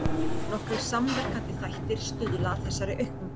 Nokkrir samverkandi þættir stuðla að þessari aukningu.